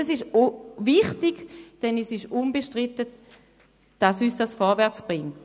Das ist wichtig, weil unbestritten ist, dass uns das vorwärtsbringt.